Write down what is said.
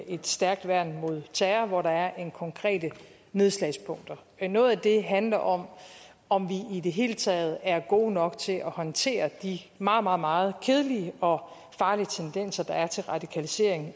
et stærkt værn mod terror hvor der er konkrete nedslagspunkter noget af det handler om om vi i det hele taget er gode nok til at håndtere de meget meget meget kedelige og farlige tendenser der er til radikalisering